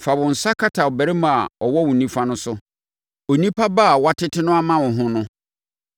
Fa wo nsa kata ɔbarima a ɔwɔ wo nifa no so, onipa ba a woatete no ama wo ho no.